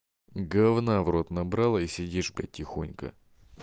говна в рот набрала и сидишь блять тихонько